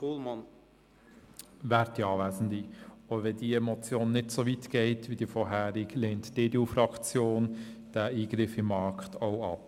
Auch wenn diese Motion nicht so weit geht wie die vorhergehende, lehnt auch die EDU-Fraktion diesen Eingriff in den Markt ab.